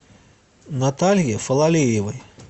наталье фалалеевой